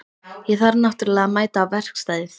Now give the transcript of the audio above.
Ég þarf náttúrlega að mæta á verkstæðið.